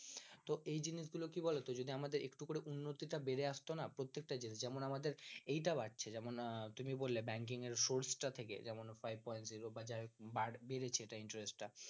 তো এই জিনিসগুলো কি বলতো যদি আমাদের একটু করে উন্নতি তা বেড়ে আস্ত না প্রত্যেকটা জিনিস যেমন আমাদের এইটা বাড়ছে যেমন তুমি বললে banking এর force তার থেকে যেমন five point zero বা যাই হোক বেড়েছে এটা interest টা